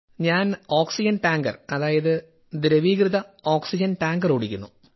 ഞാൻ oxygen tanker അതായത് ദ്രവീകൃത ഓക്സിഡൻ ടാങ്കർ ഓടിക്കുന്നു